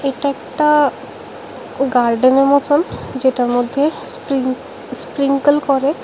এটা একটা গার্ডেনের মতন যেটার মধ্যে স্প্রিং স্প্রিংকেল করে।